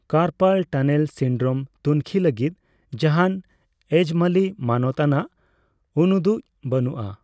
Carpal tunnel syndrome ᱛᱩᱱᱠᱷᱤ ᱞᱟᱹᱜᱤᱫ ᱡᱟᱦᱟᱱ ᱮᱡᱽᱢᱟᱹᱞᱤ ᱢᱟᱱᱚᱛ ᱟᱱᱟᱜ ᱩᱱᱩᱫᱩᱜ ᱵᱟᱹᱱᱩᱜᱼᱟ ᱾